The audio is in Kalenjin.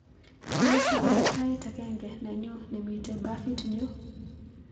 Tos iker tait agenge nenyu nemiten bafitnyu